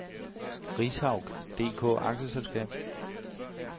Rishaug DK A/S